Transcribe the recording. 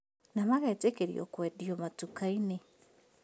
Na magetĩkĩrio kwendio matuka-inĩ